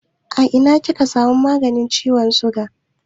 A ina kika samun maganin ciwon siga?